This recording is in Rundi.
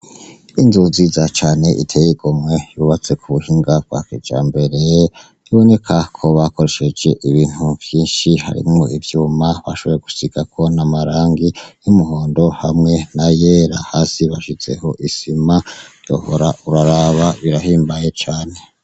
Inzu nziza cane iteye igomwe yubatse ku buhinga bwa kijambere biboneka ko bakoresheje ibintu vyinshi harimwo ivyuma bashoboye gusigako n'amarangi y'umuhondo hamwe n'ayera, hasi bashizeho isima wohora uraraba birahimbaye cane.